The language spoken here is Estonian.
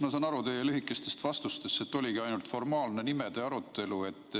Ma saan aru teie lühikestest vastustest, et oligi ainult formaalne nimede arutelu.